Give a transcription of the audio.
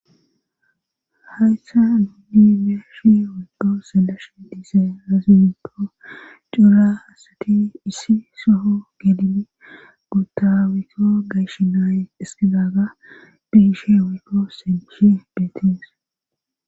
Hayta nudi beshi wiqo salashi diise raazimipo cura asuti issi soho gelin gutawiko gayshinaay eskidaaga biishe wiqo semmishe beetinese.